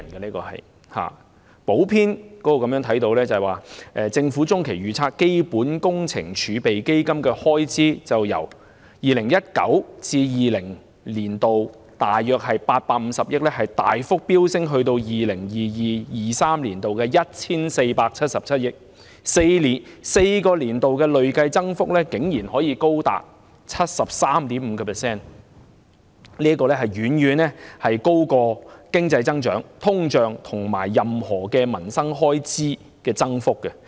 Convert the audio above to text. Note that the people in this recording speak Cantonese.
從財政預算案的補編中可見，根據政府的中期預測，基本工程儲備基金的開支會由 2019-2020 年度約850億元大幅飆升至 2022-2023 年度的 1,477 億元 ，4 個年度的累計增幅竟然高達 73.5%， 遠高於經濟增長、通脹，以及任何民生開支的增長幅度。